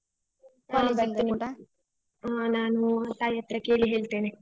ಹಾ ನಾನು ತಾಯಿ ಹತ್ರ ಕೇಳಿ ಹೇಳ್ತೇನೆ.